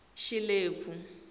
xilebvu